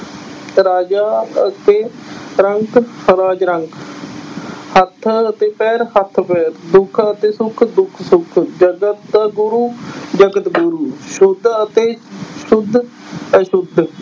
ਰਾਜਾ ਅਤੇ ਰੰਕ ਰਾਜ ਰੰਕ ਹੱਥ ਅਤੇ ਪੈਰ੍ਹ, ਹੱਥ ਪੈਰ੍ਹ, ਦੁੱਖ ਅਤੇ ਸੁੱਖ ਦੁੱਖ ਸੁੱਖ, ਜਗਤ ਗੁਰੂ ਜਗਤ ਗੁਰੂ ਸੁੱਧ ਅਤੇ ਸੁੱਧ ਅਸੁੱਧ